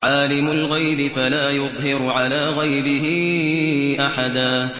عَالِمُ الْغَيْبِ فَلَا يُظْهِرُ عَلَىٰ غَيْبِهِ أَحَدًا